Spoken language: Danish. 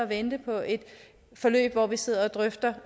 vente på et forløb hvor vi sidder og drøfter